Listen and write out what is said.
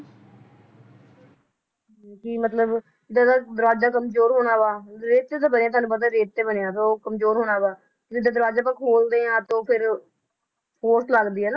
ਕੀ ਮਤਲਬ, ਦਰ~ ਦਰਵਾਜਾ ਕਮਜ਼ੋਰ ਹੋਣਾ ਵਾ ਰੇਤ ਤੇ ਤਾਂ ਬਣਿਆ, ਤੁਹਾਨੂੰ ਪਤਾ ਰੇਤ ਤੇ ਬਣਿਆ ਤਾਂ ਉਹ ਕਮਜ਼ੋਰ ਹੋਣਾ ਵਾ ਜਦੋ ਦਰਵਾਜਾ ਆਪਾਂ ਖੋਲਦੇ ਆ ਤਾਂ ਫੇਰ force ਲੱਗਦੀ ਆ